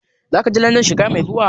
Zaka je Landan shekara mai zuwa?